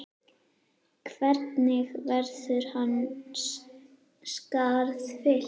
Hvernig verður hans skarð fyllt?